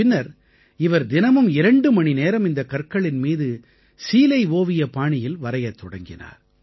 பின்னர் இவர் தினமும் 2 மணிநேரம் இந்தக் கற்களின் மீது சீலை ஓவிய பாணியில் வரையத் தொடங்கினார்